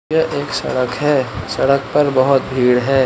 यह एक सड़क है सड़क पर बोहोत भीड़ है।